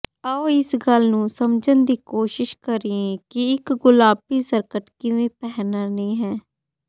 ਆਉ ਇਸ ਗੱਲ ਨੂੰ ਸਮਝਣ ਦੀ ਕੋਸ਼ਿਸ਼ ਕਰੀਏ ਕਿ ਇਕ ਗੁਲਾਬੀ ਸਕਰਟ ਕਿਵੇਂ ਪਹਿਨਣੀ ਹੈ